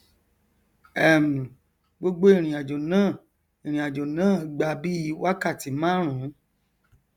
um gbogbo ìrìnàjò náà ìrìnàjò náà gba bíi wákàtí márùún